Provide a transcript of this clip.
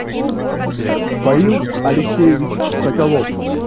фаил алексеевич соколов